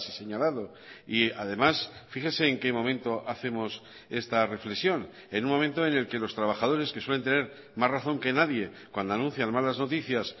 señalado y además fíjese en qué momento hacemos esta reflexión en un momento en el que los trabajadores que suelen tener más razón que nadie cuando anuncian malas noticias